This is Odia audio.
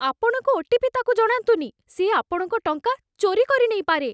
ଆପଣଙ୍କ ଓ.ଟି.ପି. ତା'କୁ ଜଣାନ୍ତୁନି । ସେ ଆପଣଙ୍କ ଟଙ୍କା ଚୋରି କରିନେଇପାରେ ।